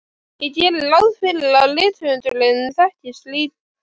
Ég geri ráð fyrir að rithöfundar þekkist líka.